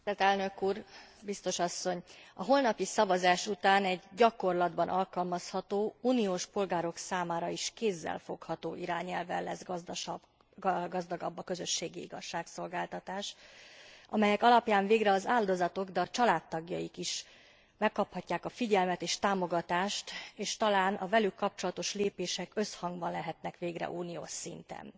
Tisztelt Elnök Úr! Biztos Asszony! A holnapi szavazás után egy gyakorlatban alkalmazható, uniós polgárok számára is kézzelfogható irányelvvel lesz gazdagabb a közösségi igazságszolgáltatás, amelyek alapján végre az áldozatok, de a családtagjaik is megkaphatják a figyelmet és támogatást, és talán a velük kapcsolatos lépések összhangban lehetnek végre uniós szinten.